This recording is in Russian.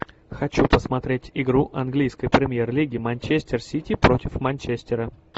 хочу посмотреть игру английской премьер лиги манчестер сити против манчестера